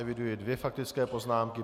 Eviduji dvě faktické poznámky.